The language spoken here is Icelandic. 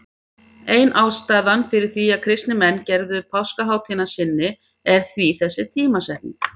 Ein ástæðan fyrir því að kristnir menn gerðu páskahátíðina að sinni er því þessi tímasetning.